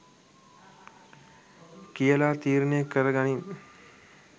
කියලා තීරණය කරගනින්